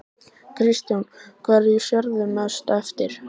Kristján: Hverju sérðu mest eftir?